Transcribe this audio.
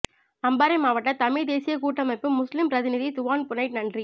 அம்பாறை மாவட்ட தமிழ் தேசியக் கூட்டமைப்பு முஸ்லிம் பிரதிநிதி துவான் புனைட்நன்றி